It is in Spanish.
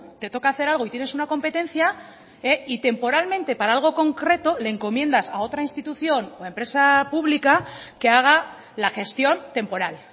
te toca hacer algo y tienes una competencia y temporalmente para algo concreto le encomiendas a otra institución o empresa pública que haga la gestión temporal